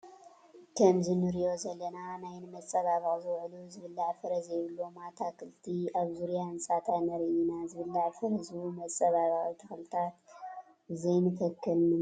ከምዚ ንሪኦ ዘለና ናይ ንመፀባበቒ ዝውዕሉ ዝብላዕ ፍረ ዘይብሎ ኣታክልቲ ኣብ ዙርያ ህንፃታት ንርኢ ኢና፡፡ ዝብላዕ ፍረ ዝህቡ መፀባበቒ ተኽልታት ዘይንተክል ንምንታይ እዩ?